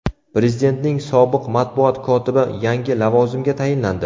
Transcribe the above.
Prezidentning sobiq matbuot kotibi yangi lavozimga tayinlandi.